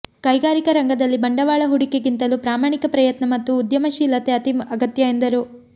ಕೈಗಾರಿಕಾ ರಂಗದಲ್ಲಿ ಬಂಡವಾಳ ಹೂಡಿಕೆಗಿಂತಲೂ ಪ್ರಾಮಾಣಿಕ ಪ್ರಯತ್ನ ಮತ್ತು ಉದ್ಯಮಶೀಲತೆ ಅತೀ ಅಗತ್ಯ ಎಂದರು